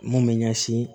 Mun bɛ ɲɛsin